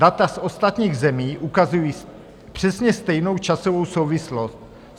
Data z ostatních zemí ukazují přesně stejnou časovou souvislost.